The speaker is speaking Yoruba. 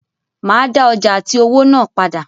Màá dá ọjà àti owó náà padà.